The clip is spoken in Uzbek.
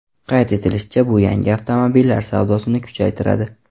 Qayd etilishicha, bu yangi avtomobillar savdosini kuchaytiradi.